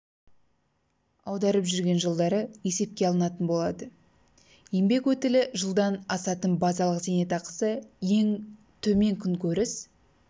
аударып жүрген жылдары есепке алынатын болады еңбек өтілі жылдан асатын базалық зейнетақысы ең төмен күнкөріс